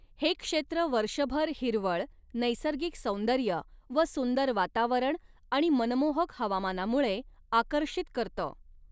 हे क्षेत्र वर्षभर हिरवळ, नैसर्गिक सौन्दर्य व सुंदर वातावरण आणि मनमोहक हवामानामुळे आकर्षित करतं.